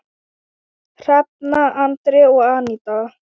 Hrefna, Andri og Aníta.